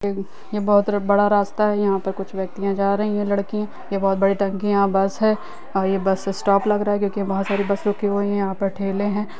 यहां बहुत बड़ा रास्ता है यहां पे कुछ व्यक्तिया जा रहे है लड़की ये बहुत बड़ी टंकी है यहां बस है और ये बस स्टॉप लग रहा है क्योंकि वहां बहुत सारी बस रुकी हुई है कुछ यहां पे ठेले है।